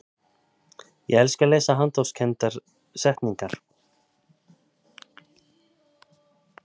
ég elska að lesa handahófskendar settningar